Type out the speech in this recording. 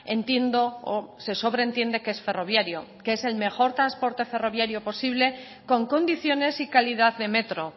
entiendo o se sobre entiende que es ferroviario que es el mejor transporte ferroviario posible con condiciones y calidad de metro